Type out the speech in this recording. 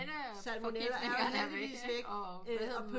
Salmonella er jo heldigvis væk